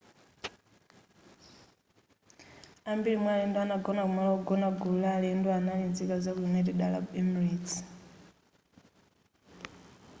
ambiri mwa alendo anagona kumalo ogona gulu la alendo anali nzika zaku united arab emirates